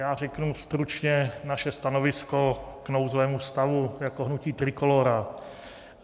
Já řeknu stručně naše stanovisko k nouzovému stavu, jako hnutí Trikolóra.